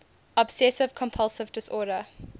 obsessive compulsive disorder